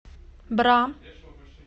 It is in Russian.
бра